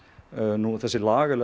nú þessi lagalegi